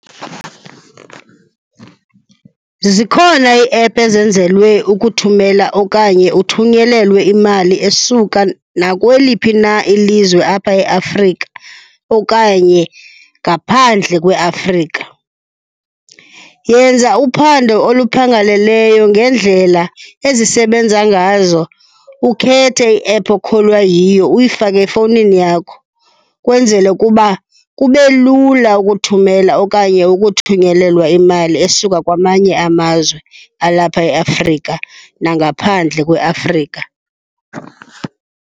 Zikhona ii-app ezenzelwe ukuthumela okanye uthunyelelwe imali esuka nakweliphi na ilizwe apha eAfrika okanye ngaphandle kweAfrika. Yenza uphando oluphangaleleyo ngeendlela ezisebenza ngazo, ukhethe i-app okholwa yiyo uyifake efowunini yakho ukwenzela ukuba kube lula ukuthumela okanye ukuthunyelelwa imali esuka kwamanye amazwe alapha eAfrika nangaphandle kweAfrika.